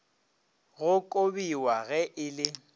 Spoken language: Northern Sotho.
go kobiwa ge e le